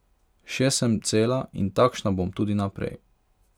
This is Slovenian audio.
Še sem cela in takšna bom tudi naprej.